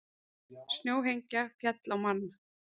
Snjóhengja féll á mann